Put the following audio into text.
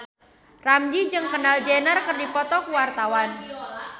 Ramzy jeung Kendall Jenner keur dipoto ku wartawan